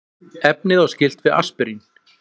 efnið á skylt við aspirín